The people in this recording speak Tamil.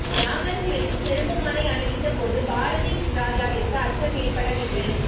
ராமர் சிலைக்கு செருப்பு மாலை அணிவித்த போது பாரதி ராஜாவிற்கு அச்சம் ஏற்படவில்லை